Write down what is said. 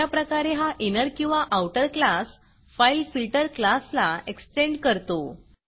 अशाप्रकारे हा इनर किंवा आऊटर क्लास fileFilterफाइल फिल्टर क्लासला एक्स्टेंड करतो